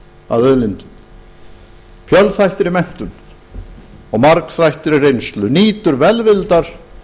að auðlindum fjölþættri menntun og margþættri reynslu nýtur velvildar